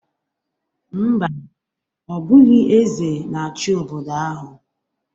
Mba, ọ bụghị eze na-achị obodo ahụ